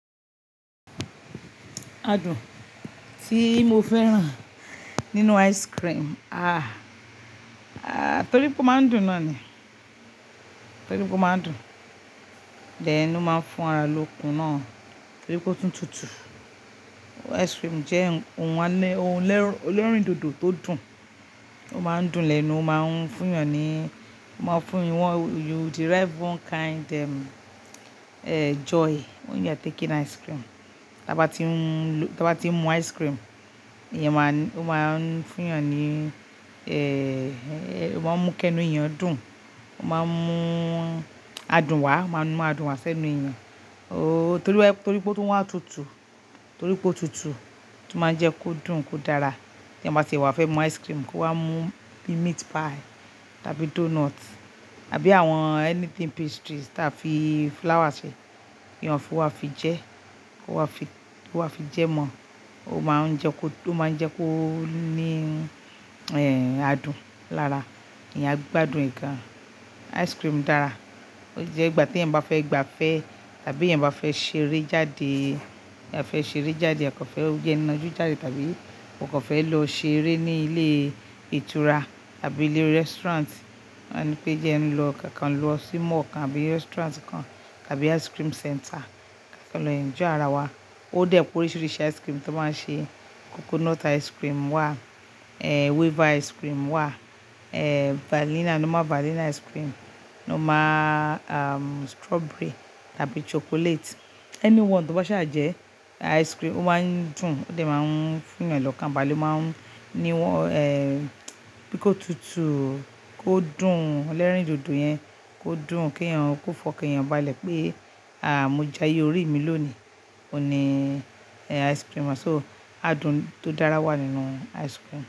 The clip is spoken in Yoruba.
Adùn tí mo fẹ́ràn nínú ice cream, torí pé ó máa ń dùn náà ni. Torí pé ó máa ń dùn, then ó máa ń fún ara lókun náà torí pé ó tútù tútù. Ice cream jẹ́ ohun ọlọ́rìn dòdò tó dùn, ó máa ń dùn lẹ́nu, ó máa ń fún èèyàn ní, ó máa ń fún You derive one kind joy when you are taking ice cream. Tí a bá tí ń, tí a bá tí ń mu ice cream, yẹn máa ń, ó máa ń fún èèyàn ní, ẹ, ẹ, ó máa ń mú kí ẹnu èèyàn dùn, ó máa ń mú adùn wá, máa mú adùn wá sẹ́nu èèyàn. O torí wá, torí pé ó tún wà tútù tútù, torí pé ó tútù, tí ó máa ń jẹ kó dùn, kó dára. Tí ẹyan ba si fẹ́ mu ice cream kó wá mú meat pie tàbí donut àbí àwọn anything pastries tí a fi flour ṣe, èèyàn fún wa fi jẹ, fún wa fi, fún wa fi jẹ mọ́, ó máa ń jẹ kó, ó máa ń jẹ kó ní, ẹ, adùn lára. Ẹ̀yàn a gbádùn e gan. Ice cream dára, ó jẹ́ ìgbà tí ẹ̀yàn bá fẹ́ gbafẹ́ tàbí ẹ̀yàn bá fẹ́ ṣeré jáde, ẹ̀yà fẹ́ ṣeré jáde, a kan fẹ́ jẹun najú jáde tàbí o kò fẹ́ lọ ṣeré ní ilé ìtura tàbí ilé restaurant, wọ́n á nipé jẹ ẹ lọ kákan lọ sí mall kan àbí restaurant kan tàbí ice cream center, kákan lọ enjoy ara wa. Ó dé pé oríṣiríṣi ice cream tí wọ́n máa ń ṣe, coconut ice cream wà, ẹ, waiver ice cream wà, ẹ, vanilla, normal vanilla ice cream, normal, àn, strawberry tàbí chocolate. Anyone to ba ṣaà jẹ ice cream, ó máa ń dùn, ó dé máa ń fún èèyàn lọ́kàn, balé máa ń ní wọ́n, ẹ, bí kó tútù tútù, kó dùn, elerìn dòdò yẹn kó dùn kí èèyàn kó fọ́ kí èèyàn balẹ̀ pé, àáà, mo jayé orí mi lónìí, òní, ẹ, ice cream. So adùn tó dára wà nínú ice cream.